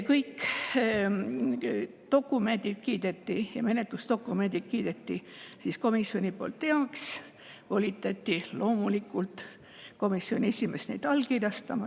Kõik menetlusdokumendid kiideti komisjoni poolt heaks ning komisjoni esimeest volitati loomulikult neid allkirjastama.